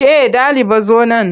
Ke ɗaliba zo nan!